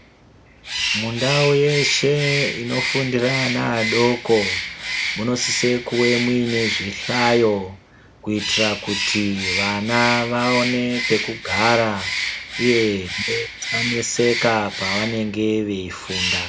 Mundau yeshe inofundira ana adoko munosise kuwe mune zvihlayo kuitira kuti vana vaone pekugara uye kuti vasaneseka pavanenge veifundaa.